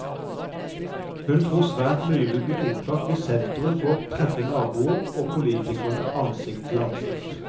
Hun tror svært mye vil bli oppklart hvis senteret får treffe naboer og politikere ansikt til ansikt.